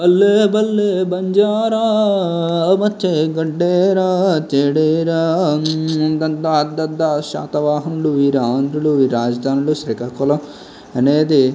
ఆహ్ బల్లె బంజారా పచ్చే గడ్డేరా చెడేరా దద్దా దద్దా శాతవాహనులు వీర ఆంధ్రులు రాజధానులు శ్రీకాకుళం అనేది.